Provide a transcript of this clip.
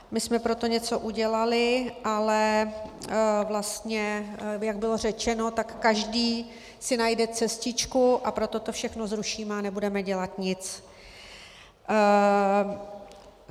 My jsme pro to něco udělali, ale vlastně jak bylo řečeno, tak každý si najde cestičku, a proto to všechno zrušíme a nebudeme dělat nic.